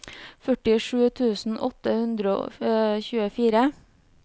førtisju tusen åtte hundre og tjuefire